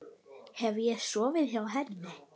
Hef ég sofið hjá henni?